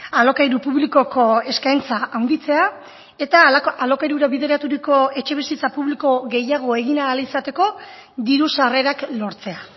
alokairu publikoko eskaintza handitzea eta alokairura bideraturiko etxebizitza publiko gehiago egin ahal izateko diru sarrerak lortzea